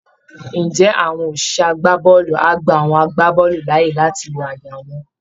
Ǹjẹ́ àwọn òṣìṣẹ́ agbábọ́ọ̀lù á gba àwọn agbábọ́ọ̀lù láàyè láti lo àyà wọn?